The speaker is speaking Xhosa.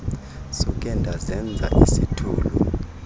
suke ndazenza isithulu